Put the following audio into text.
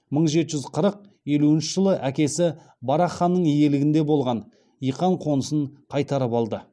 мың жеті жүз қырық елуінші жылы әкесі барақ ханның иелігінде болған иқан қонысын қайтарып алды